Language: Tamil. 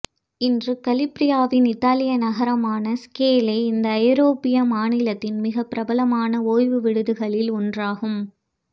இன்று கலிபிரியாவின் இத்தாலிய நகரமான ஸ்கேலே இந்த ஐரோப்பிய மாநிலத்தின் மிக பிரபலமான ஓய்வு விடுதிகளில் ஒன்றாகும்